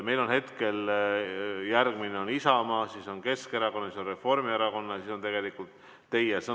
Meil on hetkel järgmine Isamaa esindaja, siis on Keskerakonna ja Reformierakonna esindaja ja siis on tegelikult teie sõnavõtt.